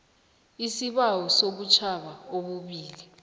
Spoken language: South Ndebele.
isibawo sobutjhaba obubili